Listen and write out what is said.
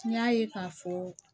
N y'a ye k'a fɔ